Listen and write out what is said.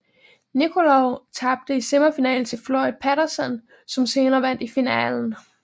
Nikolov tabte i semifinalen til Floyd Patterson som senere vandt i finalen